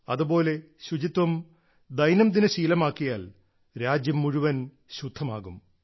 അതുപോലെ ശുചിത്വം ദൈനംദിന ശീലമാക്കിയാൽ രാജ്യം മുഴുവൻ ശുദ്ധമാകും